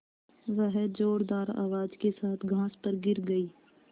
वह ज़ोरदार आवाज़ के साथ घास पर गिर गई